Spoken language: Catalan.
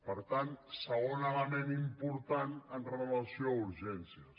per tant segon element important amb relació a urgències